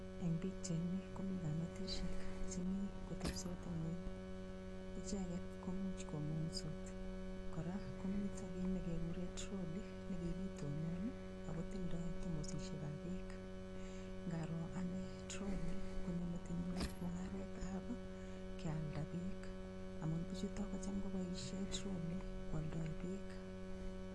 Eng' pikchaini komi kametishek chemi kotepisot ng'weny icheget ko muuch komung'sot kora komito kii nekikure trolley nekikitonon ako tindoi tomosishekab beek ngaro ane trolley konyo metinyu mung'aretab kealda beek amun bichuto kocham koboishe trolley kwoldoi beek